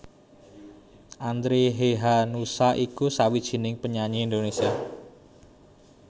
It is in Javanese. Andre Hehanussa iku sawijining penyanyi Indonesia